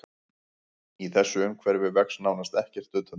Í þessu umhverfi vex nánast ekkert utandyra.